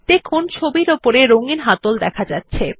দেখুন ছবিটির উপরে রঙ্গিন হাতল দেখা যাচ্ছে